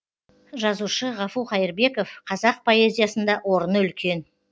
жазушы ғафу қайырбеков қазақ поэзиясында орыны үлкен